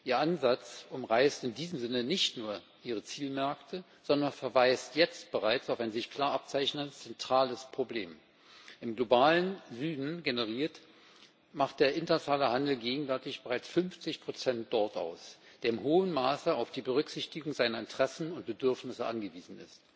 Der Ansatz umreißt in diesem Sinne nicht nur Zielmärkte, sondern verweist bereits jetzt auf ein sich klar abzeichnendes zentrales Problem Im globalen Süden generiert, macht der internationale Handel gegenwärtig bereits 50 Prozent dort aus und ist in hohem Maße auf die Berücksichtigung seiner Interessen und Bedürfnisse angewiesen.